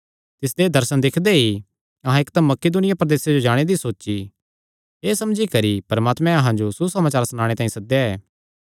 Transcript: तिसदे एह़ दर्शन दिक्खदे ई अहां इकदम मकिदुनिया प्रदेसे जाणे दी सोची एह़ समझी करी परमात्मैं अहां जो सुसमाचार सनाणे तांई सद्देया ऐ